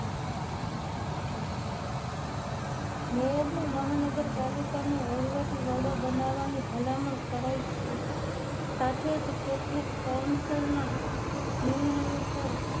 મેયરને મહાનગરપાલિકા નો વહીવટી વડો બનાવવાની ભલામણ કરાઈ છે સાથે જ કેટલીક કોન્સલન નિર્ણયો પર